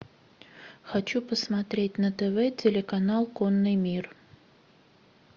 хочу посмотреть на тв телеканал конный мир